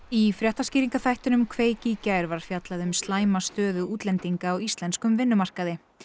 í fréttaskýringaþættinum kveik í gær var fjallað um slæma stöðu útlendinga á íslenskum vinnumarkaði